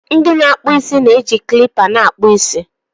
ndị na-akpụ isi na-eji kilipa na-akpụ isi